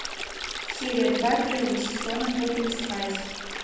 серия два первого сезона тотали спайс